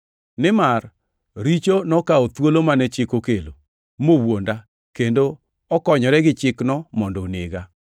Nimar richo nokawo thuolo mane chik okelo, mowuonda, kendo okonyore gi chikno mondo onega.